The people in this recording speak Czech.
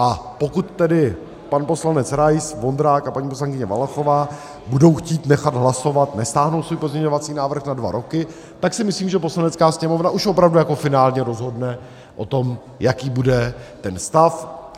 A pokud tedy pan poslanec Rais, Vondrák a paní poslankyně Valachová budou chtít nechat hlasovat, nestáhnou svůj pozměňovací návrh na dva roky, tak si myslím, že Poslanecká sněmovna už opravdu jako finálně rozhodne o tom, jaký bude ten stav.